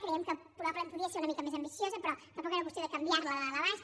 creiem que probablement podia ser una mica més ambiciosa però tampoc era qüestió de canviar la de dalt a baix